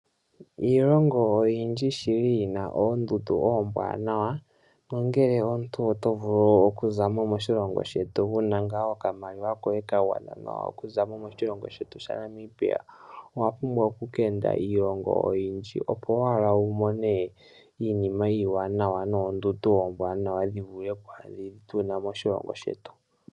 Iilongo oyindji shili yina oondundu oombwaanawa, nongele omuntu oto vulu okuza mo moshilongo shetu wuna ngaa okamaliwa koye kagwana nawa okuza mo moshilongo shetu sha Namibia, owa pumbwa oku keende iilongo oyindji opo owala wu mone iinima iiwanawa, noondundu ombwaanawa dhi vule dhi tuna moshilongo shetu.